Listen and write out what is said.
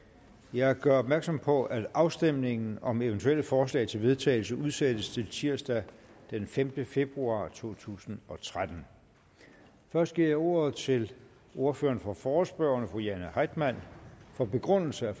jeg gør opmærksom på at afstemning om eventuelle forslag til vedtagelse udsættes til tirsdag den femte februar to tusind og tretten først giver jeg ordet til ordføreren for forespørgerne fru jane heitmann for begrundelse af